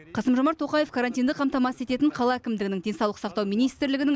қасым жомарт тоқаев карантинді қамтамасыз ететін қала әкімдігінің денсаулық сақтау министрлігінің